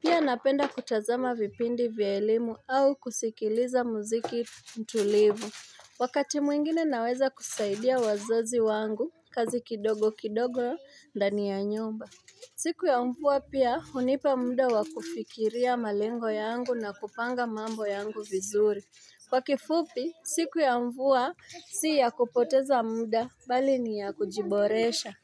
Pia napenda kutazama vipindi vya elimu au kusikiliza muziki mtulivu. Wakati mwingine naweza kusaidia wazazi wangu, kazi kidogo kidogo ndani ya nyumba. Siku ya mfua pia unipa muda wakufikiria malengo yangu na kupanga mambo yangu vizuri. Kwa kifupi, siku ya mfua si ya kupoteza muda, bali ni ya kujiboresha.